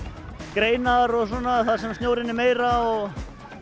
greinar og svona þar sem snjórinn er meira og